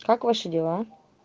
как ваши дела